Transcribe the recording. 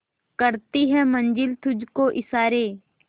करती है मंजिल तुझ को इशारे